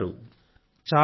మీరెలా ఉన్నారు